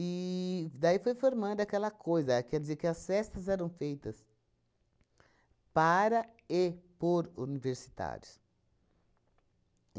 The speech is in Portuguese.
E daí foi formando aquela coisa, a quer dizer que as festas eram feitas para e por universitários.